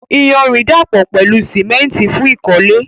Iyanrìn dàpọ̀ pẹ̀lú símẹ́ńtì fún ìkọ́lé.